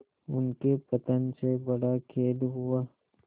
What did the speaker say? उनके पतन से बड़ा खेद हुआ